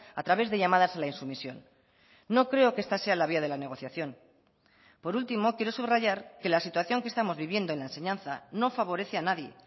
a través de llamadas a la insumisión no creo que esta sea la vía de la negociación por último quiero subrayar que la situación que estamos viviendo en la enseñanza no favorece a nadie